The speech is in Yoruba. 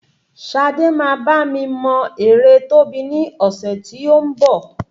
Sade máa bá mi mọ ère Tóbi ní ọ̀sẹ̀ tí ó ń bọ̀